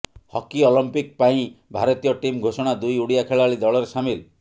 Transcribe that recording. hockey Olympic ପାଇଁ ଭାରତୀୟ team ଘୋଷଣା ଦୁଇ ଓଡିଆ ଖେଳାଳୀ ଦଳରେ ସାମିଲ